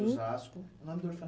Osasco. Nome do